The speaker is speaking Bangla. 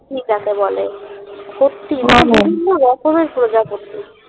জেক বলে সত্যি মানে বিভিন্ন রকমের প্রজাপতি